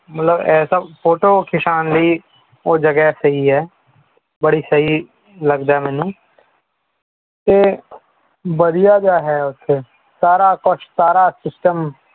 ਮਤਲਬ ਐਸਾ photo ਖਿੱਚਣ ਲਈ ਉਹ ਜਗਾ ਸਹੀ ਹੈ ਬੜੀ ਸਹੀ ਲਗਦਾ ਹੈ ਮੈਨੂੰ ਤੇ ਵਧੀਆ ਜਿਹਾ ਹੈ ਉਥੇ ਸਾਰਾ ਕੁਛ ਸਾਰਾ system